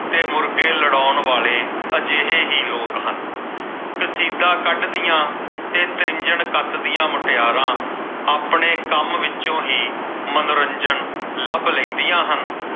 ਤੇ ਮੁਰਗੇ ਲੜਾਉਣ ਵਾਲੇ ਇਹ ਕਰਤਾ ਅਜਿਹੇ ਹੀ ਲੋਕ ਹਨ। ਕਸੀਦਾ ਕੱਢਦੀਆਂ ਤੇ ਤ੍ਰਿੰਝਣ ਕੱਤਦੀਆਂ ਮੁਟਿਆਰਾਂ ਆਪਣੇ ਕੰਮ ਵਿੱਚੋਂ ਹੀ ਮਨੋਰੰਜਨ ਲੱਭ ਲੈਦੀਆਂ ਹਨ।